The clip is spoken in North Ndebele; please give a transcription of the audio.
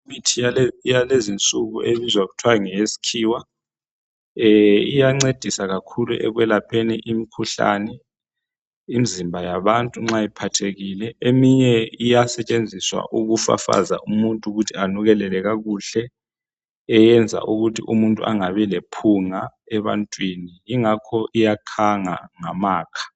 Imithi yalezinsuku ebizwa kuthiwa ngeyesikhiwa , iyancedisa kakhulu ekwelapheni imikhuhlane imizimba yabantu nxa iphathekile .Eminye iyasetshenziswa ukufafaza umuntu ukuthi anukelele kakuhle .Eyenza ukuthi umuntu angabi lephunga ebantwini yingakho iyakhanga ngamakha.